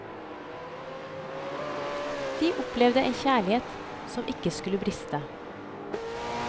De opplevet en kjærlighet som ikke skulle briste.